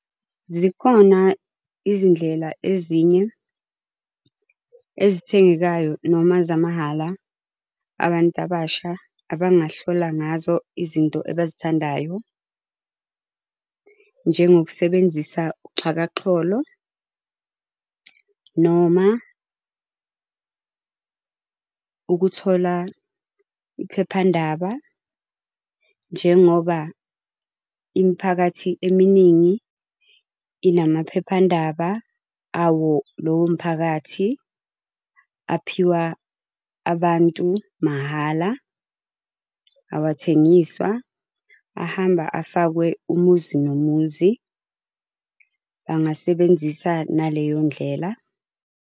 Zikhona izindlela ezinye, ezithengekayo noma zamahhala abantu abasha abangahlola ngazo izinto abazithandayo. Njengokusebenzisa uxhakaxholo, noma ukuthola iphephandaba njengoba imiphakathi eminingi inamaphephandaba awo lowo mphakathi. Aphiwa abantu mahhala, awathengiswa, ahamba afakwe umuzi nomuzi. Bangasebenzisa naleyo ndlela.